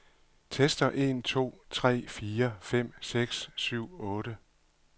Tester en to tre fire fem seks syv otte.